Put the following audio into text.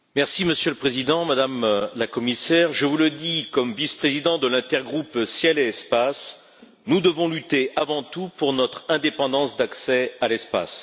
Monsieur le Président, Madame la Commissaire, je vous le dis en tant que vice président de l'intergroupe ciel et espace, nous devons lutter avant tout pour notre indépendance d'accès à l'espace.